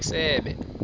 isebe